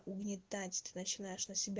угнетать ты начинаешь на себя